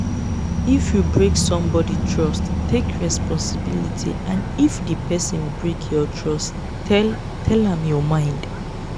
if you break somebody trust take responsibility and if di person break your trust tell tell am your mind